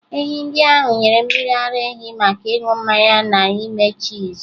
Ehi ndị ahụ nyere mmiri ara ehi maka ịṅụ mmanya na ime chiizi.